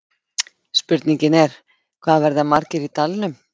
Spurningin er, hvað verða margir í dalnum?